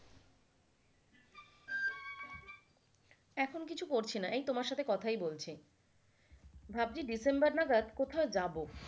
এখন কিছু করছি না এই তোমার সাথে কথাই বলছি ভাবছি ডিসেম্বর নাগাদ কোথায় যাব।